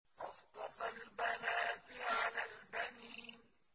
أَصْطَفَى الْبَنَاتِ عَلَى الْبَنِينَ